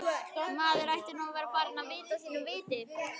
Maður ætti nú að vera farinn að vita sínu viti.